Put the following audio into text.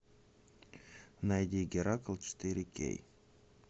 найди геракл четыре кей